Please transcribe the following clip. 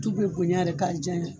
Tu be boɲa rɛ kari jaɲa